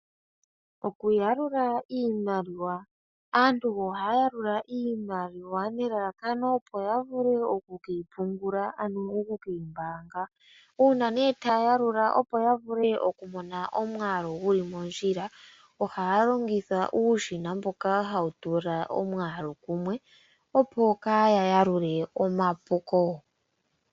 Okuyalula iimaliwa, aantu ohaya yalula iimaliwa nelalakano opo yavule oku keyi pungula ano oku keyi mbaanga. Uuna taya yalula opo ya vule okumona omwaalu guli mondjila ohaya longitha uushina mboka hawu tula omwaalu kumwe opo kaya yalule omapuko.